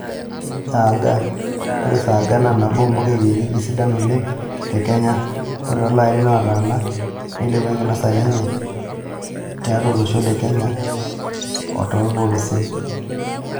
Saaga (Cleome gynadra):Ore saaga naa naboo ompuka ekienyeji sidai oleng te Kenya. Ore too larin ootana neilepwa enkinosare enye toolontoluo lolosho le Kenya otoorpolosien.